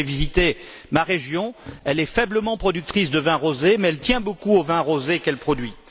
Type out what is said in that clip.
Vous avez visité ma région, elle est faiblement productrice de vin rosé, mais elle tient beaucoup au vin rosé qu'elle produit.